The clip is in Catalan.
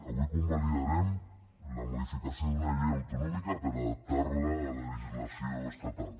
avui convalidarem la modificació d’una llei autonòmica per adaptar la a la legislació estatal